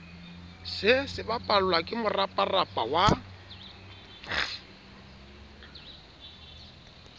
se sebapallwa ke moraparapa wa